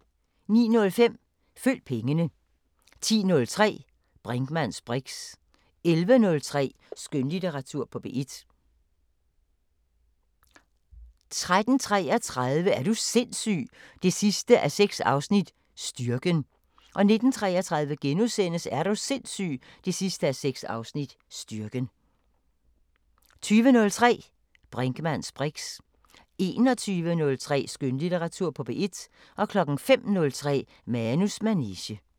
09:05: Følg pengene 10:03: Brinkmanns briks 11:03: Skønlitteratur på P1 13:33: Er du sindssyg 6:6 – Styrken 19:33: Er du sindssyg 6:6 – Styrken * 20:03: Brinkmanns briks 21:03: Skønlitteratur på P1 05:03: Manus manege